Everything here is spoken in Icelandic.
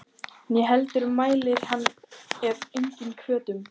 Né heldur mælir hann af eigin hvötum.